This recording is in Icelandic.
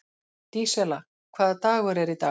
Dísella, hvaða dagur er í dag?